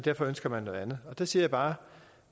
derfor ønsker man noget andet der siger jeg bare